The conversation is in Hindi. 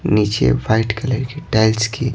नीचे वाइट कलर की टाइल्स की--